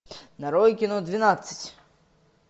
нарой кино двенадцать